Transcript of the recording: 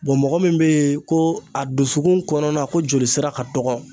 Bɔn mɔgɔ min be yen ko a dusukun kɔnɔna ko jolisira ka dɔgɔ